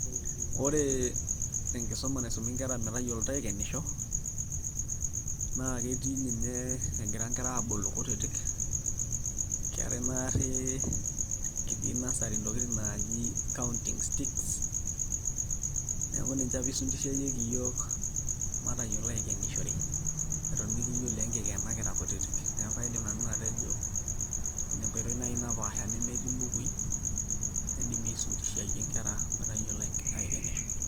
Ore enkisuma naisumi nkera metayioloito aikenisho naa ketii ninye egira nkera aabulu kutitik keetai naarri kitii nursery ntokitin naaji counting sticks neeku ninche apa isundishieki iyiook pee kiyiolou aikenisho eton mikiyiolo enkikena kira kutitik, neeku kaidim nanu atejo ina enkoitoi naai napaasha nemetii mbukuui naidimi aisundishiayie nkera pee eyiolou aikenisho.